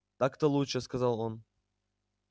так-то лучше сказал он